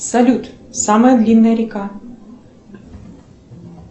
салют самая длинная река